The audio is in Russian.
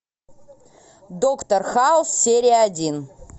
доктор хаус серия один